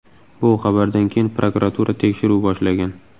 Bu xabardan keyin prokuratura tekshiruv boshlagan.